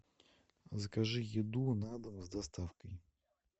закажи еду на дом с доставкой